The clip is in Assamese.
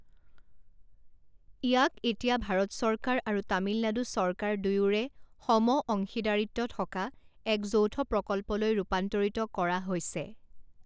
ইয়াক এতিয়া ভাৰত চৰকাৰ আৰু তামিলনাডু চৰকাৰ দুয়োৰে সমঅংশীদাৰিত্ব থকা এক যৌথ প্ৰকল্পলৈ ৰূপান্তৰিত কৰা হৈছে।